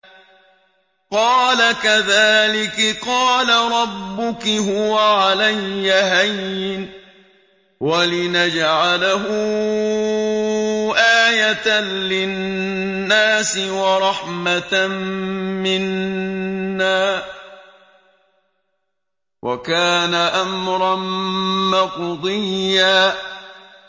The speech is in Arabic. قَالَ كَذَٰلِكِ قَالَ رَبُّكِ هُوَ عَلَيَّ هَيِّنٌ ۖ وَلِنَجْعَلَهُ آيَةً لِّلنَّاسِ وَرَحْمَةً مِّنَّا ۚ وَكَانَ أَمْرًا مَّقْضِيًّا